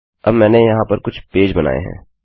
अब मैंने यहाँ पर कुछ पेज बनाएँ हैं